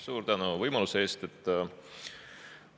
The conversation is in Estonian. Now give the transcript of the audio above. Suur tänu võimaluse eest!